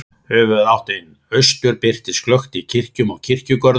Höfuðáttin austur birtist glöggt í kirkjum og kirkjugörðum.